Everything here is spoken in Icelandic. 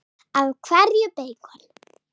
Af hverju beikon?